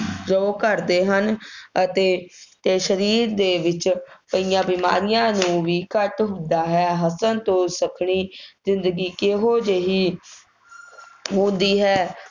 ਰੋਗ ਘੱਟਦੇ ਹਨ ਅਤੇ ਤੇ ਸਰੀਰ ਦੇ ਵਿੱਚ ਪਈਆਂ ਬਿਮਾਰੀਆਂ ਨੂੰ ਵੀ ਘੱਟ ਹੁੰਦਾ ਹੈ, ਹੱਸਣ ਤੋਂ ਸੱਖਣੀ ਜ਼ਿੰਦਗੀ ਕਿਹੋ ਜਿਹੀ ਹੁੰਦੀ ਹੈ?